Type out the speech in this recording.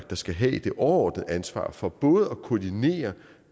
der skal have det overordnede ansvar for både at koordinere